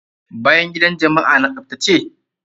Bayan gidan jama'a na tsaftace?